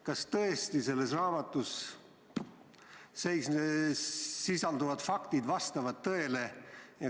Kas tõesti selles raamatus sisalduvad väited vastavad tõele?